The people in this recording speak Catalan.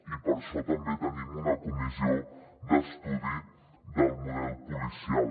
i per això també tenim una comissió d’estudi del model policial